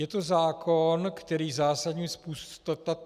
Je to zákon, který zásadním způsobem...